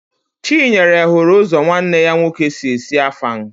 Chinyere hụrụ ụzọ nwanne ya nwoke si esi Afang